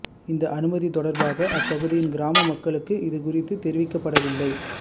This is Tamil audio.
இந்த அனுமதி தொடர்பாக அப்பகுதியின் கிராம மக்களுக்கு இது குறித்து தெரிவிக்கப்படவில்லை